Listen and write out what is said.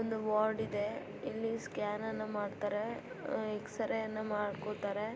ಇಲ್ಲಿ ವರ್ಡ್ ಇದೆ ಇಲ್ಲಿ ಸ್ಕ್ಯಾನ್ ಅನ್ನ ಮಾಡುತರೆ ಎಕ್ಸ್ರೇ ಅನ್ನ ಮಾಡುಕೊಳ್ಳುತಾರೆ.